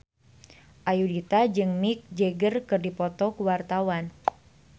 Ayudhita jeung Mick Jagger keur dipoto ku wartawan